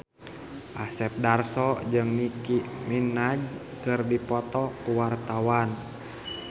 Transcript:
Asep Darso jeung Nicky Minaj keur dipoto ku wartawan